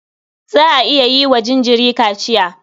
Za a iya yi wa jinjiri kaciya.